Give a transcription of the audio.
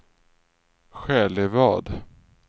Själevad